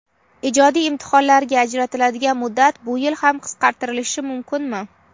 Ijodiy imtihonlarga ajratiladigan muddat bu yil ham qisqartirilishi mumkinmi?.